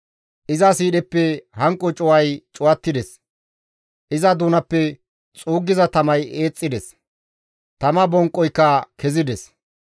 Iza siidheppe hanqo cuway cuwattides; iza doonappe xuuggiza tamay eexxides; tama bonqoyka kezides.